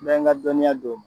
N bɛ n ka dɔnniya d'o ma.